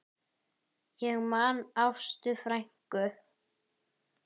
Ég man Ástu frænku.